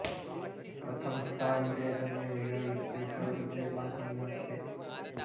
પ્રથમ સ્થાન જે તમે મિરર વિશે વિચારો છો તે બાથરૂમમાં છે